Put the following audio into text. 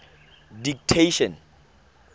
didactician